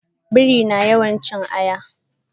Biri na yawan cin ayaba.